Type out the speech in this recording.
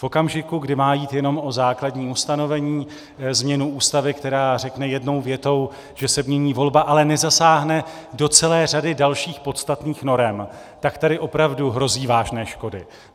V okamžiku, kdy má jít jenom o základní ustanovení, změnu Ústavy, která řekne jednou větou, že se mění volba, ale nezasáhne do celé řady dalších podstatných norem, tak tady opravdu hrozí vážné škody.